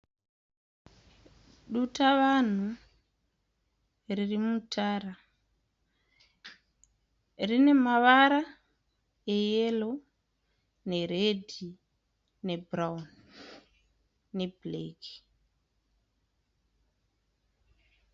Dutavanhu riri mutara. Rine mavara eyero neredhi nebhurauni nebhureki.